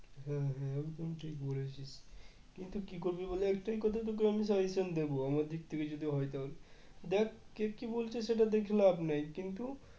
হম হম একদম ঠিক বলেছিস কিন্তু কি করবি বল একটাই কথা তোকে আমি suggestion দেবো আমার দিক থেকে যদি হয় তাহলে দেখ কে কি বলছে সেটা দেখে লাভ নেই কিন্তু